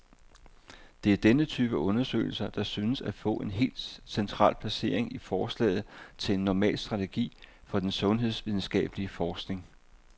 Det er denne type undersøgelser, der synes at få et helt central placering i forslaget til en normal strategi for den sundhedsvidenskabelig forskning.